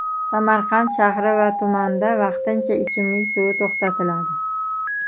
Samarqand shahri va tumanida vaqtincha ichimlik suvi to‘xtatiladi.